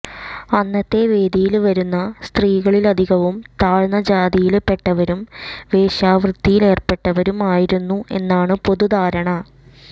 അന്നത്തെ വേദിയില് വരുന്ന സ്ത്രീകളിലധികവും താഴ്ന്ന ജാതിയില് പെട്ടവരും വേശ്യാവൃത്തിയിലേര്പ്പെട്ടവരും ആയിരുന്നു എന്നാണ് പൊതുധാരണ